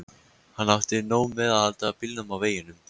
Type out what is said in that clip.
Hann átti nóg með að halda bílnum á veginum.